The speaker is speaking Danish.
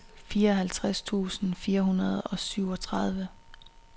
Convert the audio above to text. fireoghalvtreds tusind fire hundrede og syvogtredive